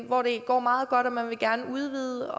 hvor det går meget godt og man vil gerne udvide